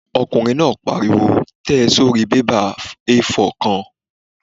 Ọkùnrin náà pariwo "tẹ̀ ẹ́ sórí bébà A4 kan!"